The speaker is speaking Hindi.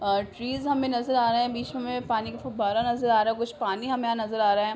और ट्रीज हमें नज़र आ रहे हैं। बीच में हमें पानी का फव्वारा नज़र आ रहा है। कुछ पानी हमें नज़र आ रहा है।